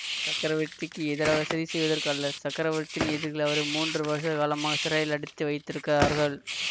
சக்கரவர்த்திக்கு எதிராக சதி செய்வதற்கு அல்ல சக்கரவர்த்தியின் எதிரிகள் அவரை மூன்று வருஷ காலமாக சிறையில் அடைத்து வைத்திருக்கிறார்கள்